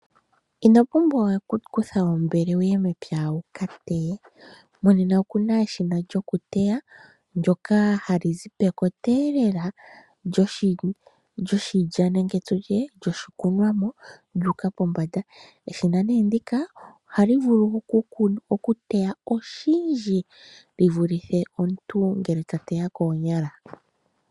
Ino pumbwa we oku kutha ombele wu ye mepya wu ka teye. Monena oku na eshina lyokuteya, ndyoka hali zi pekoteelela lyoshilya nenge tu tye lyoshikunwamo, lyu uka pombanda. Eshina nee ndika ohali vulu okuteya oshindji li vulithe omuntu ngele ta teya koonyala.